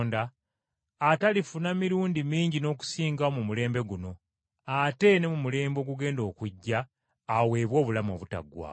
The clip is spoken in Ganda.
atalifuna mirundi mingi n’okusingawo mu mulembe guno, ate ne mu mulembe ogugenda okujja aweebwe obulamu obutaggwaawo.”